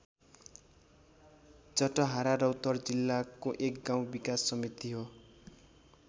जटहारा रौतहट जिल्लाको एक गाउँ विकास समिति हो।